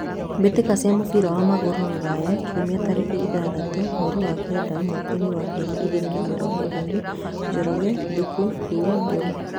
Mbĩtĩka cia mũbira wa magũrũ Ruraya Kiumia tarĩki ithathatũ mweri wa kenda mwakainĩ wa ngiri igĩrĩ na mĩrongo ĩrĩ: Njoroge, Thuku, Thuo, Mburu.